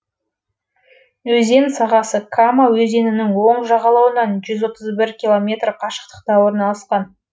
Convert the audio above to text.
өзен сағасы кама өзенінің оң жағалауынан жүз отыз бір километр қашықтықта орналасқан